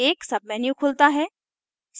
एक menu खुलता है